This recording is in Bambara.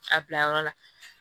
A bila yɔrɔ la